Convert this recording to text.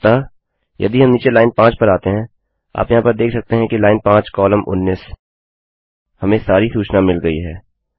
अतः यदि हम नीचे लाइन 5 पर आते हैं आप यहाँ पर देख सकते हैं कि लाइन 5 कॉमा 19 ल्न5 कोल19 हमें सारी सूचना मिल गयी है